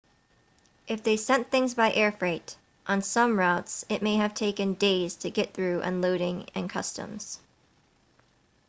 if they sent things by air freight on some routes it may have taken days to get through unloading and customs